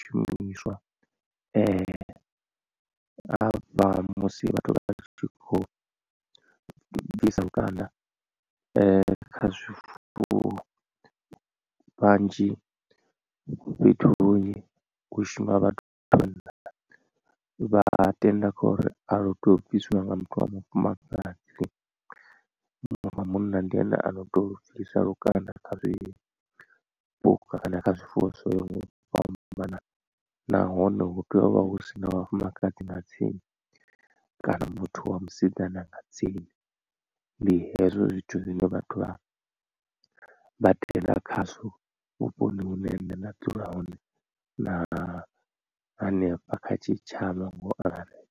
shumiswa havha musi vhathu vha tshi kho bvisa lukanda kha zwifuwo vhanzhi fhethu hunzhi hu shuma vhathu vha vhanna. Vha tenda kha uri alu tei u bviswa nga muthu wa mufumakadzi wa munna ndi ene ano tea u lu bvisa lukanda kha zwi puka kana kha zwifuwo zwoyaho nga u fhambanana nahone hu tea u vha hu sina vhafumakadzi nga tsini kana muthu wa musidzana nga tsini ndi hezwo zwithu zwine vhathu vha tenda khazwo vhuponi hune nṋe nda dzula hone na hanefha kha tshitshavha ngo angaredza.